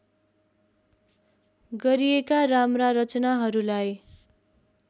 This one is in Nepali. गरिएका राम्रा रचनाहरूलाई